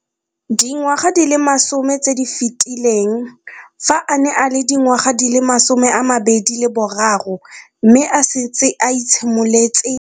Dingwaga di le 10 tse di fetileng, fa a ne a le dingwaga di le 23 mme a setse a itshimoletse.